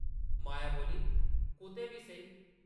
माया बोल्ली, कुतै बी सेही ।